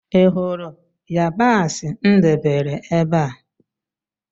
Ị hụrụ yabasị m debere ébé a?